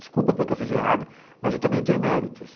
Desculpa pelo que eu fiz de errado, mas eu também tenho méritos.